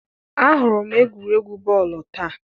ahụrụ m egwuregwu bọọlụ taa.